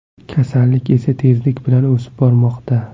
Kasallik esa tezlik bilan o‘sib bormoqda.